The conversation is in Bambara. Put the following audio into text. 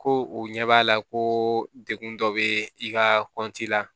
Ko u ɲɛ b'a la ko degun dɔ be i ka kɔnti la